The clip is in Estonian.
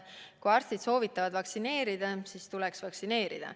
Kui arstid soovitavad vaktsineerida, siis tuleks vaktsineerida.